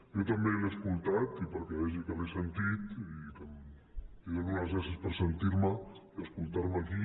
jo també l’he escoltat i perquè vegi que l’he sentit li dono les gràcies per sentir me i escoltar me aquí